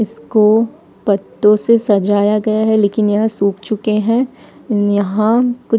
इसको पत्तों से सजाया गया है लेकिन यह सूख चुके हैं यहां कुछ--